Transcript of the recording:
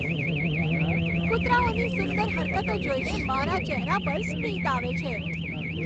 કુતરાઓની સુંદર હરકતો જોઈને મારા ચહેરા પર સ્મિત આવે છે.